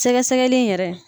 Sɛgɛsɛgɛli yɛrɛ.